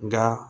Nka